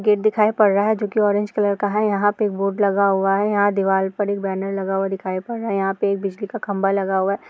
Gate दिखाई पड़ रहा है जो कि ऑरेंज कलर का है यहाँ पे बोर्ड लगा हुआ है यहाँ दीवाल पर एक बैनर लगा हुआ दिखाई पड़ रहा है यहाँ पे एक बिजली का खंबा लगा हुआ है।